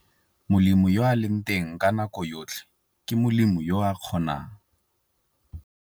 Molemi yo a leng teng nako yotlhe ke molemi yo a kgonang.